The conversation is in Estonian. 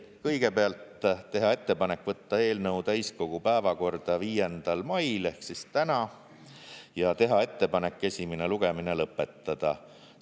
Kõigepealt, teha ettepanek võtta eelnõu täiskogu päevakorda 5. mail ehk täna ja teha ettepanek esimene lugemine lõpetada.